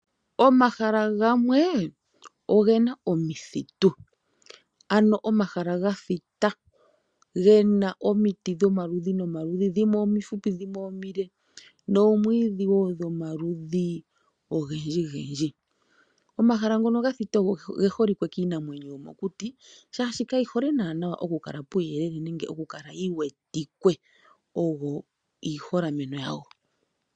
Omahala gamwe oge na omithitu ano omahala gathita ge na omiti dhomaludhi nomaludhi dhimwe omifupi dhimwe omile noomwiidhi dhomaludhi nomaludhi ogendjigendji. Omahala ngono ga thita oge holike kiinamwenyo yomokuti, shaashi kayi hole nana okukala puuyelele nenge okukala yi wetike. Ogo iiholameno yago.